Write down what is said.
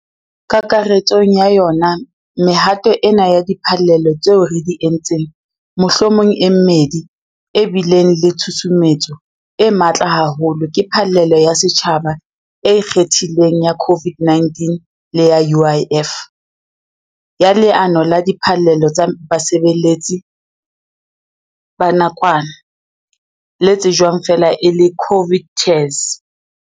Kakaretsong ya yona mehato ena ya diphallelo tseo re di entseng mohlomong e mmedi e bileng le tshusumetso e matla haholo ke phallelo ya setjhaba e ikgethileng ya COVID-19 le ya UIF, ya Leano la Diphallelo tsa Basebetsi la Nakwana, le tsejwang feela e le COVID TERS.